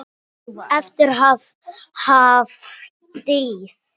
Elsku Hafdís.